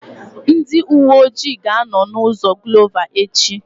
Ndị uwe ọjị ga-anọ na ụzọ Glova echi